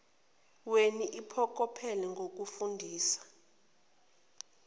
weni iphokophele ngokufundisa